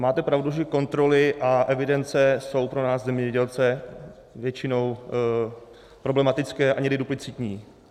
Máte pravdu, že kontroly a evidence jsou pro nás zemědělce většinou problematické a někdy duplicitní.